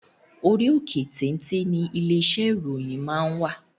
Orí òkè téńté ńi ilé iṣẹ́ ìròyìn máa wà.